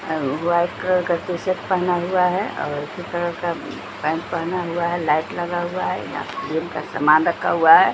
अव white colour का T-shirt पहना हुआ है और उसी कलर का पेंट पहना हुआ है लाइट लगा हुआ है यहां जिम का समान रखा हुआ है।